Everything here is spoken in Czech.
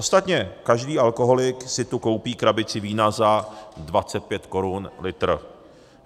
Ostatně každý alkoholik si tu koupí krabici vína za 25 korun litr.